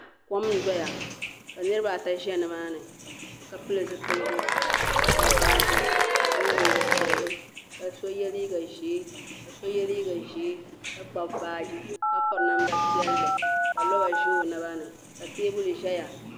Kom n doya ka niribi ata ʒani maani ka pili zipiligu. ka Kpabi baaji ka ye liiga piɛli, kaso yeliiga ʒɛɛ. ka Kpabi baaji ka piri namda piɛli, ka lɔba ʒa ɔ nabani ka teebuli ʒaya.